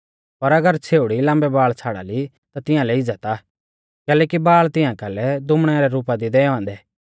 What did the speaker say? पर अगर छ़ेउड़ी लाम्बै बाल़ छ़ाड़ा ली ता तिंआलै इज़्ज़त आ कैलैकि बाल़ तिंआ कालै दुमणै रै रुपा दी दैऔ औन्दै